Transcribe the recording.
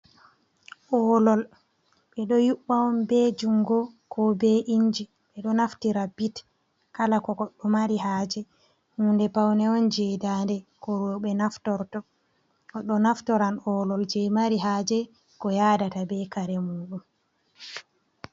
Olol ɓe ɗo Yubɓa'on, be Jungo ko be Inji ɓeɗo Naftira bit Kala ko Godɗo Mari haje, Hunde Paune'on je Ndande ko. Roɓe Naftoto, Godɗo Naftoran Olol je Mari haje ko Yadata be Kare Muɗum.